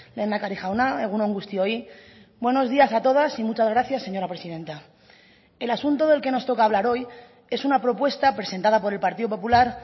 lehendakari jauna egun on guztioi buenos días a todas y muchas gracias señora presidenta el asunto del que nos toca hablar hoy es una propuesta presentada por el partido popular